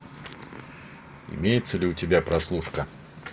имеется ли у тебя прослушка